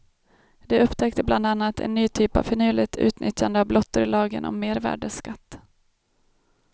De upptäckte bland annat en ny typ av finurligt utnyttjande av blottor i lagen om mervärdesskatt.